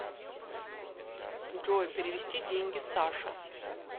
джой перевести деньги саше